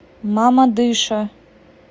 мамадыша